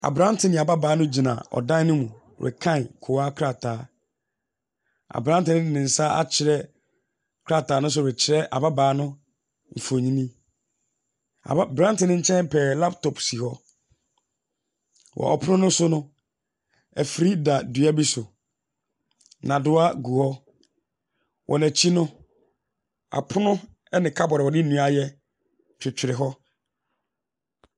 Abrante ne ababaawa no gyina ɔdan no mu rekan kowa krataa. Abrante no de nsa akyerɛ krataa no so rekyerɛ ababaa no mfonyini. Aba abranteɛ no nkyɛn pɛɛ, laptop si hɔ. Wɔ pono no so no, afiri da dua bi so. Nnadewa gu hɔ. Wɔn akyi no, apono ne kadboar a wɔde.